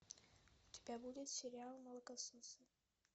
у тебя будет сериал молокососы